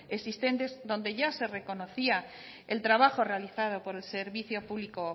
existentes donde ya se reconocía el trabajo realizado por el servicio público